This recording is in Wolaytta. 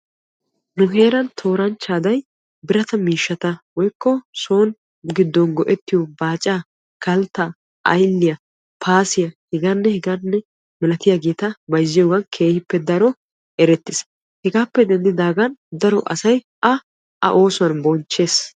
Nu heeran tooranchcha aday so gido miishshatta baaca, kaltta, aylliyanne h.h.m bayzziyogan eretees. hegappe denddidagn asay a oosuwan bonchchees.